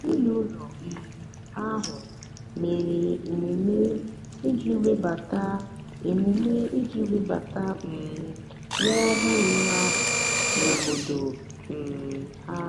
ezinụlọ um ahụ mere emume iji webata emume iji webata um nwa ọhụrụ ahụ n'obodo um ha.